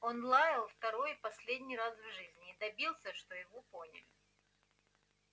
он лаял второй и последний раз в жизни и добился что его поняли